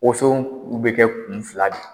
Woson bɛ kɛ kun fila de